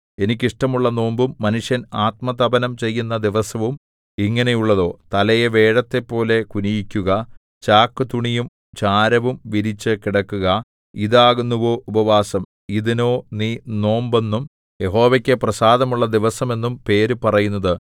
എനിക്ക് ഇഷ്ടമുള്ള നോമ്പും മനുഷ്യൻ ആത്മതപനം ചെയ്യുന്ന ദിവസവും ഇങ്ങനെയുള്ളതോ തലയെ വേഴത്തെപ്പോലെ കുനിയിക്കുക ചാക്കുതുണിയും ചാരവും വിരിച്ചു കിടക്കുക ഇതാകുന്നുവോ ഉപവാസം ഇതിനോ നീ നോമ്പെന്നും യഹോവയ്ക്കു പ്രസാദമുള്ള ദിവസമെന്നും പേര് പറയുന്നത്